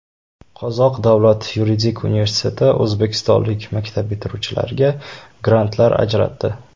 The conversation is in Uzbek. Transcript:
Qozoq davlat yuridik universiteti o‘zbekistonlik maktab bitiruvchilariga grantlar ajratdi.